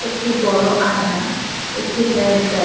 একটি বড় আয়না একটি হেয়ার ড্রায়--